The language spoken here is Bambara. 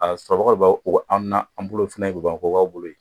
A a sɔrɔ bagaw o bɛ an na, an bolo fɛnɛ bolo yen